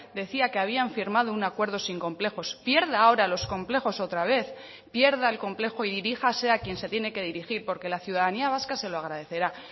decía que habían firmado un acuerdo sin complejos pierda ahora los complejos otra vez pierda el complejo y diríjase a quien se tiene que dirigir porque la ciudadanía vasca se lo agradecerá